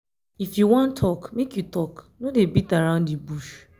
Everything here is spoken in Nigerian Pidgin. if you wan tok make you tok no dey beat around di bush.